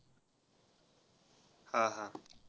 हा हा.